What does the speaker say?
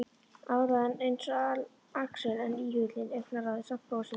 Áræðinn eins og Axel en íhugulli, augnaráðið samt, brosið annað.